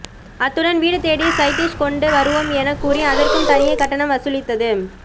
அத்துடன் வீடு தேடி சைடிஷ் கொண்டு வருவோம் என கூறி அதற்கும் தனியே கட்டணம் வசூலித்தது